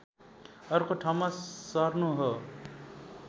अर्को ठाउँमा सर्नु हो